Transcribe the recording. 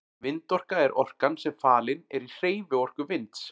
Vindorka er orkan sem falin er í hreyfiorku vinds.